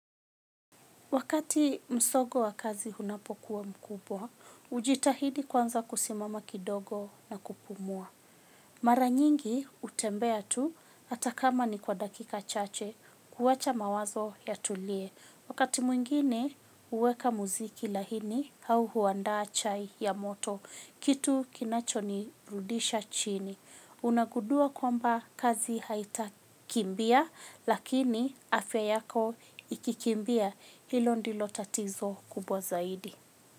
Wakati msongo wa kazi unapokuwa mkubwa, hujitahidi kwanza kusimama kidogo na kupumua. Mara nyingi hutembea tu hata kama ni kwa dakika chache kuwacha mawazo yatulie. Wakati mwingine huweka muziki laini au huandaa chai ya moto, kitu kinacho nirudisha chini. Unagudua kwamba kazi haitakimbia lakini afya yako ikikimbia hilo ndilo tatizo kubwa zaidi.